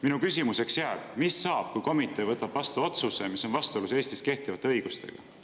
Minu küsimuseks jääb: mis saab siis, kui komitee võtab vastu otsuse, mis on vastuolus Eestis kehtiva õigusega?